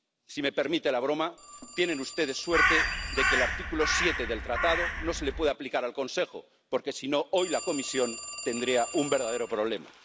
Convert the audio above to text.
Si me permite la broma, tienen ustedes suerte de que el artículo 7 del Tratado no se le pueda aplicar al Consejo porque si no, hoy, la Comisión tendría un verdadero problema.